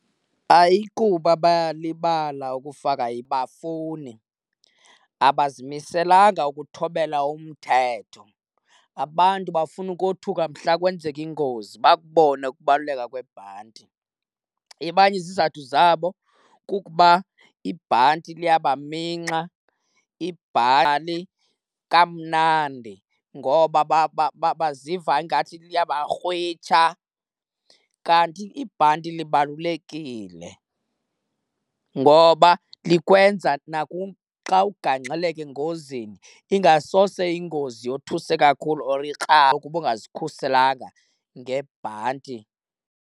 Ayikuba bayalibala ukufaka, abafuni. Abazimiselanga ukuthobela umthetho. Abantu bafuna ukothuka mhla kwenzeka ingozi bakubone ukubaluleka kwebhanti. Abanye izizathu zabo kukuba ibhanti liyabaminxa kamnandi ngoba baziva ingathi liyabakrwisha, kanti ibhanti libalulekile ngoba likwenza xa ukugaxeleka engozini ingasose ingozi yothuse kakhulu or ikrakre ungazikhuselanga ngebhanti.